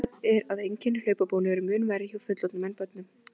Vitað er að einkenni hlaupabólu eru mun verri hjá fullorðnum en börnum.